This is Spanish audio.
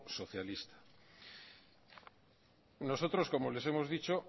socialista nosotros como les hemos dicho